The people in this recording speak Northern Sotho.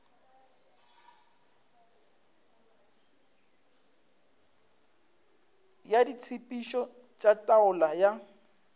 ya ditshepetšo tša taolo ya